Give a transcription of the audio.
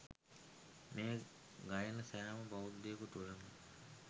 මෙය ගයන සෑම බෞද්ධයෙකු තුළම